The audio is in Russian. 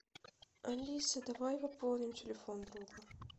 алиса давай пополним телефон друга